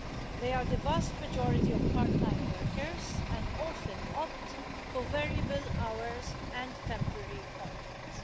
They are the vast majority of part time workers and often opt for variable hours and temporary contracts.